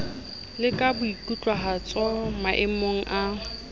le ka boikutlwahatso maemong a